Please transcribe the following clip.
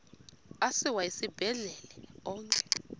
asiwa esibhedlele onke